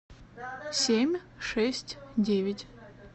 семь шесть девять